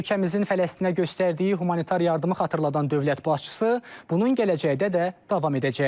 Ölkəmizin Fələstinə göstərdiyi humanitar yardımı xatırladan dövlət başçısı, bunun gələcəkdə də davam edəcəyini deyib.